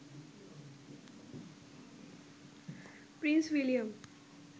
Prince William